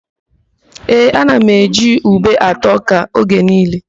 Ee, ana m eji ube ata ọ́kà oge niile.